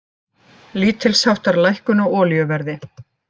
Lítilsháttar lækkun á olíuverði